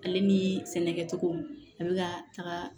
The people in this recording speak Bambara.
Ale ni sɛnɛkɛcogo a be ka taga